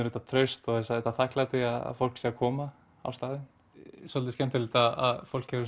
þetta traust og þetta þakklæti að fólk sé að koma á staðinn svolítið skemmtilegt að fólk hefur